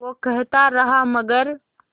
वो कहता रहा मगर